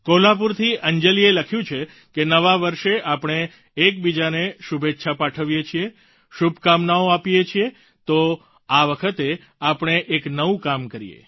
કોલ્હાપુરથી અંજલિએ લખ્યું છે કે નવા વર્ષે આપણે બીજાને શુભેચ્છા પાઠવીએ છીએ શુભકામનાઓ આપીએ છીએ તો આ વખતે આપણે એક નવું કામ કરીએ